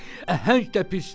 Əhəng də pisdir.